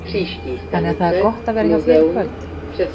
Þannig að það er gott að vera hjá þér í kvöld?